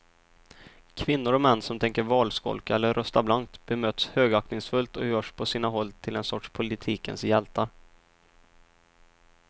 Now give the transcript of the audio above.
Kvinnor och män som tänker valskolka eller rösta blankt bemöts högaktningsfullt och görs på sina håll till en sorts politikens hjältar.